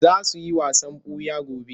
Za su yi wasan ɓuya gobe.